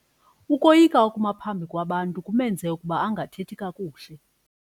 Ukoyika ukuma phambi kwabantu kumenze ukuba angathethi kakuhle.